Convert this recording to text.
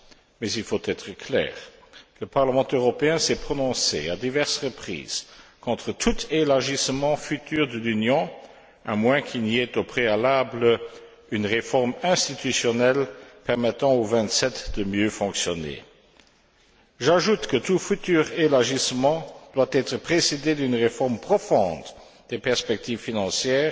Mais il faut être clair le Parlement européen s'est prononcé à diverses reprises contre tout élargissement futur de l'Union, à moins qu'il n'y ait au préalable une réforme institutionnelle permettant aux Vingt sept de mieux fonctionner. J'ajoute que tout futur élargissement doit être précédé d'une réforme profonde des perspectives financières